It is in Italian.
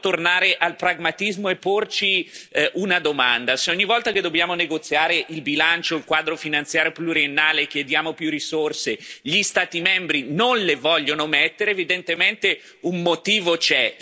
tornare al pragmatismo e porci una domanda se ogni volta che dobbiamo negoziare il bilancio, il Quadro finanziario pluriennale, chiediamo più risorse e gli Stati membri non le vogliono mettere, evidentemente un motivo c'è.